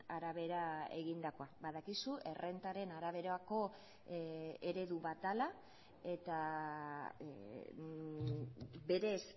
arabera egindakoa badakizu errentaren araberako eredu bat dela eta berez